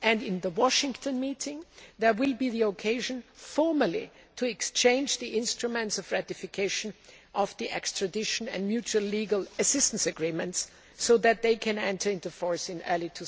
In the Washington meeting, there will be the opportunity formally to exchange the instruments of ratification of the extradition and mutual legal assistance agreements so that they can enter into force in early